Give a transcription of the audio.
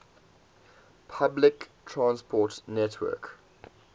public transport network